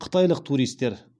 қытайлық туристер